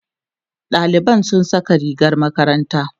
ɗaliban sun Saka rigar makaranta